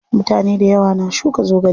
Mutane dayawa na shuka zogale.